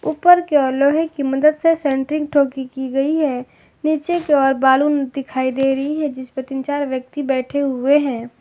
ऊपर की ओर लोहे की मदद से सेंटरिंग ठोकी की गई है नीचे के और बालू दिखाई दे रही है जिसपे तीन चार व्यक्ति बैठे हुए हैं।